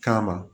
Kama